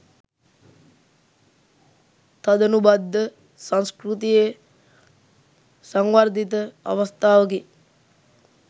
තදනුබද්ධ සංස්කෘතියේ සංවර්ධිත අවස්ථාවකි.